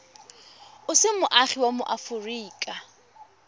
o se moagi wa aforika